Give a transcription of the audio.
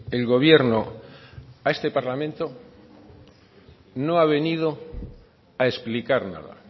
el gobierno a este parlamento no ha venido a explicar nada